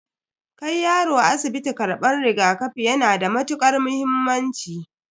Kai yaro asibiti karban rigakafi yana da matukar muhimmanci.